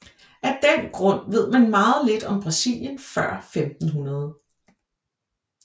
Af den grund ved man meget lidt om Brasilien før 1500